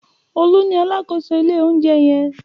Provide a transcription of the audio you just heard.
Olú ni alákòóso ilé-oúnjẹ yẹn.